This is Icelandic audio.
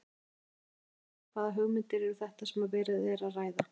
Hrund Þórsdóttir: Hvaða hugmyndir eru þetta sem verið er að ræða?